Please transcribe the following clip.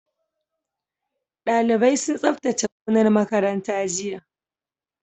Dalibai sun tsabtace gonar makaranta jiya